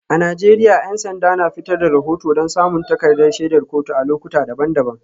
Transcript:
A Najeriya 'yan sanda na fitar da rahoto don samun takardar shaidar kotu a lokuta daban-daban.